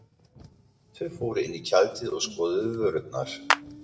Þau fóru inn í tjaldið og skoðuðu vörurnar.